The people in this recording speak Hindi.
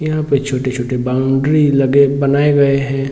यहाँ पे छोटे छोटे बाउंड्री लगे बनाये गए हैं |